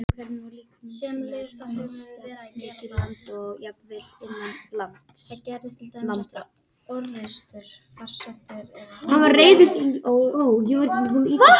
Þú stendur þig vel, Tanja!